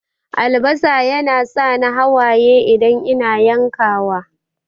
Albasa yana sa ni hawaye idan ina yankawa.